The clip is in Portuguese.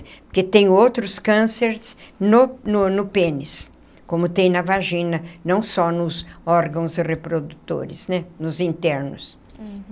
Porque tem outros cânceres no no no pênis, como tem na vagina, não só nos órgãos reprodutores né, nos internos.